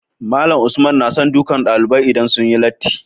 Malam Usman nason dukan ɗalibai idan sunyi latti